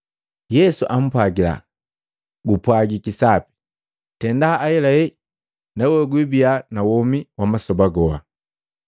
Yesu ampwagila, “Gupwagiki sapi. Tenda ahelahela nawe gwibia na womi wa masoba goa.”